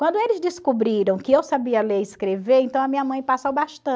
Quando eles descobriram que eu sabia ler e escrever, então a minha mãe passa o bastão,